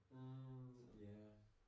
Mh ja